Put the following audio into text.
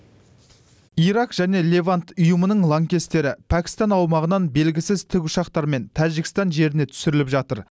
ирак және левант ұйымының лаңкестері пәкістан аумағынан белгісіз тікұшақтармен тәжікстан жеріне түсріліп жатыр